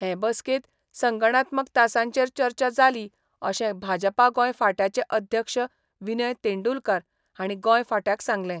हे बसकेंत संगणात्मक तासांचेर चर्चा जाली अशें भाजपा गोंय फांट्याचे अध्यक्ष विनय तेंडुलकार हांणी गोंय फांट्याक सांगलें.